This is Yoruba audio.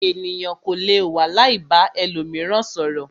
Ènìyàn kò lè wà láì ba ẹlòmíràn sọ̀rọ̀.